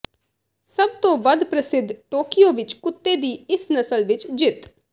ਸਭ ਤੋਂ ਵੱਧ ਪ੍ਰਸਿੱਧ ਟੋਕੀਓ ਵਿੱਚ ਕੁੱਤੇ ਦੀ ਇਸ ਨਸਲ ਵਿੱਚ ਜਿੱਤ